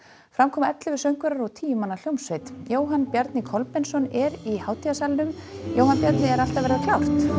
fram koma ellefu söngvarar og tíu manna hljómsveit Jóhann Bjarni Kolbeinsson er í hátíðarsalnum Jóhann Bjarni er allt að verða klárt